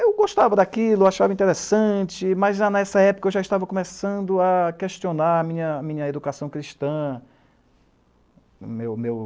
Eu gostava daquilo, achava interessante, mas nessa época eu já estava começando a questionar minha educação cristã, meu, meu